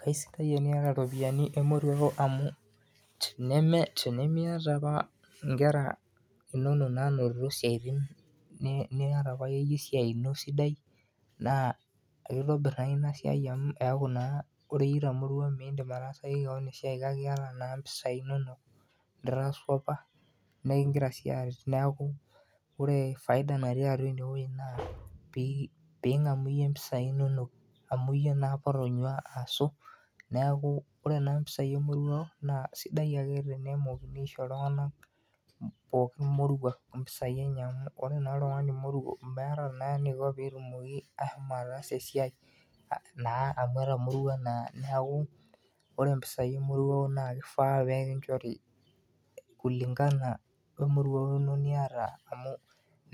Kaisidai teniata ropiyiani emoruao amu neme, tenimiata apa inkera inono nanotito isiatin niata apake iyie esiai ino sidai naa enkitobir naa ina siai amu keaku naa ore iyie itamorua mindim inakata ataasaki keon esiai kake iata naa mpisai inonok nitaasua apa nekingira sii aret m neaku ore faida natii atua ene wuei naa pingamu iyie impisai inono amu iyie naapa otonyua aasu . Neaku ore naa mpisai emoruao naa sidai ake tenemokuni aisho iltunganak pooki moruak mpisai enye amu ore naa oltungani moruo meetaa naa eniko peetumoki ashomo ataasa esiai naa amu etamorua naa , neaku ore mpisai emoruao naa kifaa pekinchori kulingana wemoruao ino niata amu